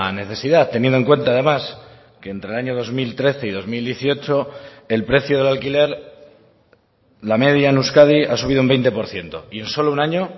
necesidad teniendo en cuenta además que entre el año dos mil trece y dos mil dieciocho el precio del alquiler la media en euskadi ha subido un veinte por ciento y en solo un año